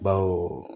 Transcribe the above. Bawo